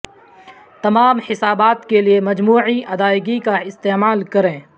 تمام حسابات کے لئے مجموعی ادائیگی کا استعمال کریں